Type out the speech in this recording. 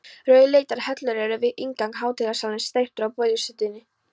Rauðleitar hellur eru við inngang hátíðasalarins, steyptar úr baulusteini.